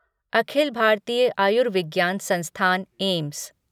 अखिल भारतीय आयुर्विज्ञान संस्‍थान एम्स